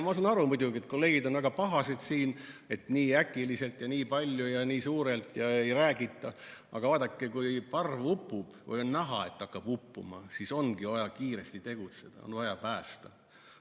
Ma saan aru muidugi, et kolleegid on siin väga pahased, et nii äkiliselt ja nii palju ja nii suurelt ja ei räägita, aga vaadake, kui parv upub või on näha, et hakkab uppuma, siis ongi vaja kiiresti tegutseda, on vaja päästa.